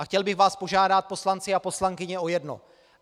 A chtěl bych vás požádat, poslanci a poslankyně, o jedno.